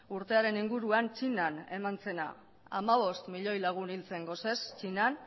urtearen inguruan txinan eman zena hamabost milioi lagun hil zen gosez txinan